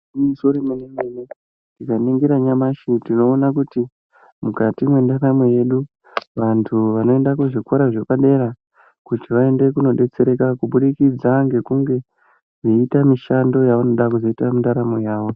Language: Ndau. Igwinyiso remenemene tikaningira nyamashi tinoona kuti mwendaramo yedu vantu vanoenda kuzvikora zvepadara kuti vaende kunobetsereka kubudikidza ngekunge veita mishando yavanoda kuzoita mundaramo yavo .